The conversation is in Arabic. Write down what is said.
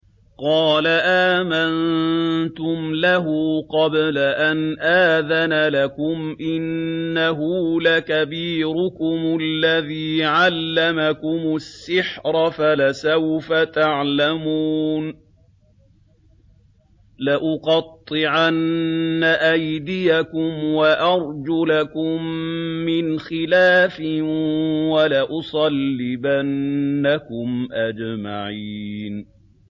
قَالَ آمَنتُمْ لَهُ قَبْلَ أَنْ آذَنَ لَكُمْ ۖ إِنَّهُ لَكَبِيرُكُمُ الَّذِي عَلَّمَكُمُ السِّحْرَ فَلَسَوْفَ تَعْلَمُونَ ۚ لَأُقَطِّعَنَّ أَيْدِيَكُمْ وَأَرْجُلَكُم مِّنْ خِلَافٍ وَلَأُصَلِّبَنَّكُمْ أَجْمَعِينَ